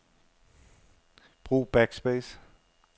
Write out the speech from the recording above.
Brug backspace.